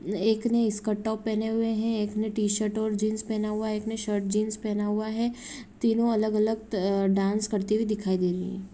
एक ने skirt top पहने हुए हैं एक ने टी शर्ट और जींस पहना हुआ हैं एक ने शर्ट जींस पहना हुआ हैं तीनों अलग-अलग त डांस करती हुई दिखाई दे रही हैं।